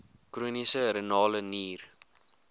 chroniese renale nier